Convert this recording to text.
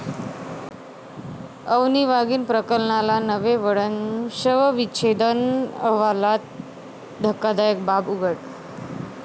अवनी वाघीण प्रकरणाला नवे वळण, शवविच्छेदन अहवालात धक्कादायक बाब उघड